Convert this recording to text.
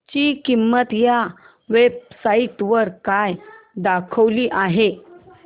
ची किंमत या वेब साइट वर काय दाखवली आहे